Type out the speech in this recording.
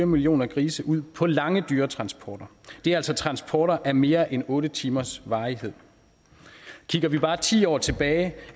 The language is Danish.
millioner grise ud på lange dyretransporter det er altså transporter af mere end otte timers varighed kigger vi bare ti år tilbage